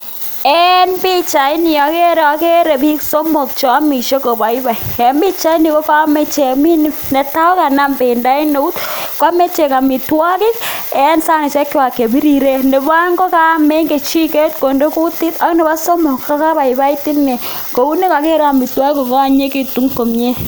En pichaini ogere, ogere biik somok che omishe koboiboi. En pichaini ko ka amishe ichek. Netai koganam bendo en eut koame ichek amitwogik en saishekwag che biriren nebo oeng kokam en kechiket konde kutit ak nebo somok kogabaibait inee kou negoger amitwogik kogaanyinyegitun komye.